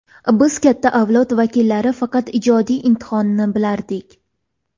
Biz – katta avlod vakillari faqat ijodiy imtihonni bilardik.